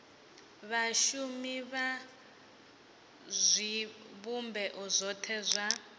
vhashumi vha zwivhumbeo zwothe zwa